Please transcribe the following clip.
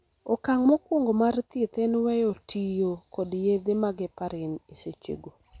okang' mokwongo mar thieth en weyo tiyo kod yedhe mag heparin esechego